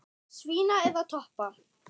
Svína eða toppa?